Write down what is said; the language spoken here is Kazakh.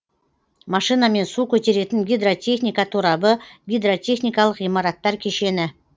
машинамен су көтеретін гидротехника торабы гидротехникалық ғимараттар кешені